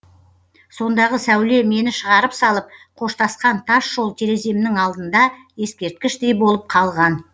сондағы сәуле мені шығарып салып қоштасқан тас жол тереземнің алдында ескерткіштей болып қалған